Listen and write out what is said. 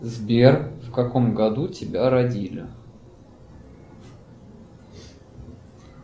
сбер в каком году тебя родили